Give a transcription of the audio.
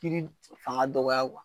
Kiri fanga dɔgɔya .